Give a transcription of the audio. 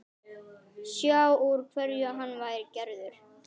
Sjá úr hverju hann væri gerður.